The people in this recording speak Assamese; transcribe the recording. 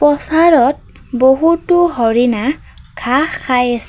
পচাৰত বহুতো হৰিণা ঘাঁহ খায় আছে।